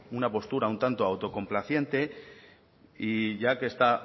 una postura un tanto autocomplaciente y ya que está